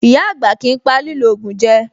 Ìyá-àgbà kìí pa lílò ògùn jẹ.